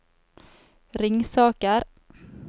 Ringsaker